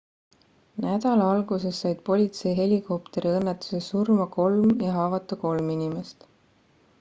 nädala alguses said politseihelikopteri õnnetuses surma kolm ja haavata kolm inimest